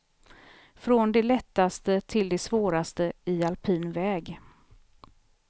Från det lättaste till det svåraste i alpin väg.